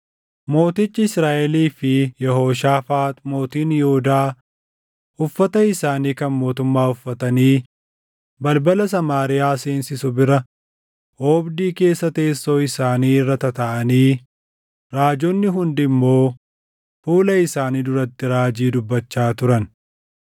Mootichi Israaʼelii fi Yehooshaafaax mootiin Yihuudaa uffata isaanii kan mootummaa uffatanii balbala Samaariyaa seensisu bira oobdii keessa teessoo isaanii irra tataaʼanii raajonni hundi immoo fuula isaanii duratti raajii dubbachaa turan.